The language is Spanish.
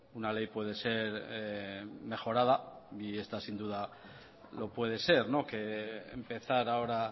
una ley puede ser mejorada y esta sin duda lo puede ser que empezar ahora